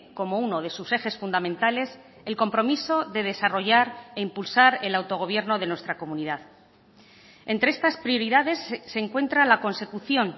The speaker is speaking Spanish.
como uno de sus ejes fundamentales el compromiso de desarrollar e impulsar el autogobierno de nuestra comunidad entre estas prioridades se encuentra la consecución